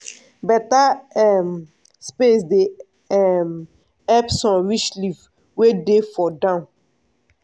beta um space dey um help sun reach leaf wey dey for down.